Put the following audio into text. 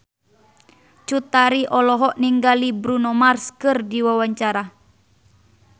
Cut Tari olohok ningali Bruno Mars keur diwawancara